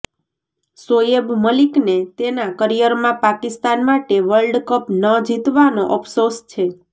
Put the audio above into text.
શોએબ મલિકને તેના કરિયરમાં પાકિસ્તાન માટે વર્લ્ડ કપ ન જીતવાનો ઓફસોસ છે